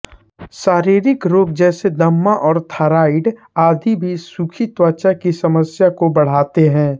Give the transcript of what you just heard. शारीरिक रोग जैसे दमा और थाइरॉयड आदि भी सुखी त्वचा की समस्या को बढ़ाते हैं